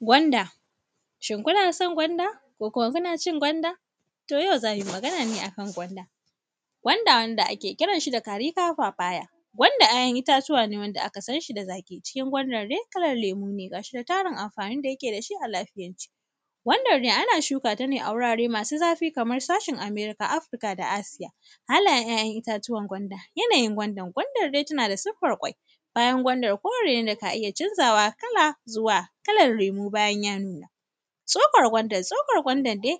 Gwanda. Shin kuna son gwanda ko kuma kuna cin gwanda? To, yau za mi magana ne a kan gwanda. Gwanda, wanda ake kiran shi da “caripa-papaya”, gwanda ‘ya’yan itatuwa ne wanda aka san shi da zaƙi. Cikin gwandar de, kalan lemu ne, gas hi kuma tarun amfanin da yake da shi a lafiyance. Gwandar de, ana shuka ta ne a wurare masu zafi kamar sashin Amerika, Afrika da Asiya. Halayen ‘ya’yan itatuwan gwanda, yanayin gwandar, gwandar de tana da siffar ƙwai. Kayan gwandar kore ne da ka iya canzawa kala zuwa kala lemu bayan ya nuna. Tsokar gwandar, tsokar gwandar de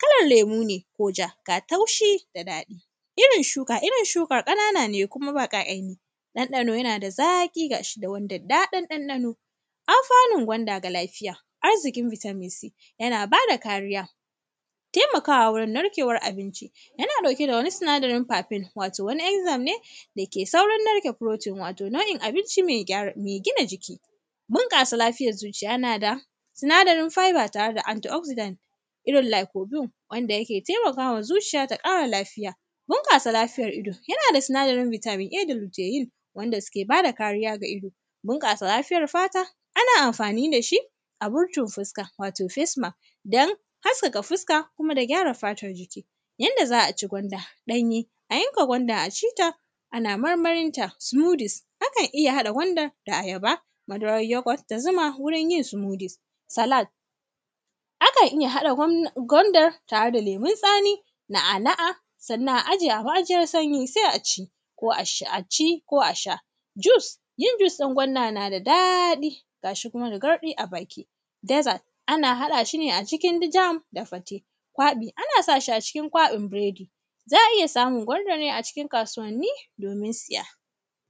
kalar lemu ne ko ja, ga taushi da daɗi. Irin shuka, irin shukar ƙanana ne kuma baƙa’yenyin ɗanɗano, yana da zaƙi ga shi da wani daddaɗan ɗanɗano. Alfanun gwanda ga lafiya, arziƙin “Vitamin C”, yana ba da kariya, temaka wurin narkewar abinci, yana ɗauke da wani sinadarin “paping”, wato wani “enxym” ne, dake saurin narka “protein”, wato nau’in abinci me gyara; me gina jiki. Bunƙasa lafiyar zuciya, yana da sinadarin “fibre” tare da “anti-oxedene” irin “lakobium”, wanda yake temaka wa zuciya ta ƙara lafiya. Bunƙasa lafiyar ido, yana da sinadarin “Vitamin A” da muke yi, yanda sike ba da kariya ga ido, binƙasa lafiyar fata, ana amfani da shi, a rufe fuska, wato “facemask”, don haskaka fuska kuma da gyara fatan mutun. Yanda za a ci gwanda ɗanye, a yanka gwanda a ci ta, ana marmarin ta. Sumudus, akan iya haɗa gwanda da ayaba, madarar yogot da zuma wurin yin sumudus. Salad, akan iya haɗa gwand; gwandar tare da lemun tsami, na’ana’a, sannan a aje a ma’ajiyar sanyi, se a ci, ko ash; a ci ko a sha. Jus, yin jus ɗin gwanda na da daɗi, ga shi kuma da garɗi a baki. Dezad, ana haɗa shi ne a cikin di jam da fate. Kwaƃi, ana sa shi a cikin kwaƃin biredi. Za a iya samun gwandar ne a cikin kasuwanni, domin siya.